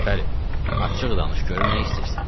Gülpəri, açıq danış görüm nə istəyirsən.